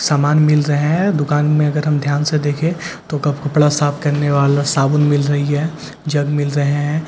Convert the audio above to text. सामान मिल रहे हैं दुकान में अगर हम ध्यान से देखे तो कपड़ा साफ करने वाला साबुन मिल रही है जग मिल रहे हैं झाड़ुआ मिल रही --